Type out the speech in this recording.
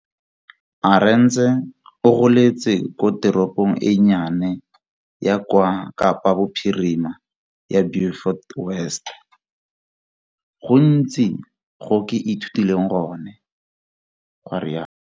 Arendse o goletse ko teropong e nnye ya kwa Kapa Bophirima ya Beaufort West. Go gontsi go ke ithutileng gone.